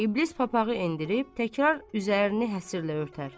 İblis papağı endirib, təkrar üzərini həslə örtər.